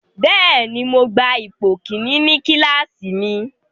Bẹ́ẹ̀ni, Mo gba ipo kini ni kilasi mi